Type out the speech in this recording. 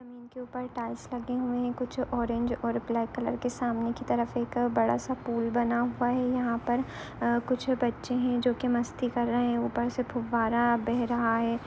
जमीन के ऊपर टाईल्स लगे हुए है कुछ ऑरेंज और ब्लाक कलरके सामने की तरफ़ एक बड़ा सा पूल बना हुआ है यहाँ पर कुछ बच्चे है जो की मस्ती कर रहे है ऊपर से फुब्बारा बह रहा है।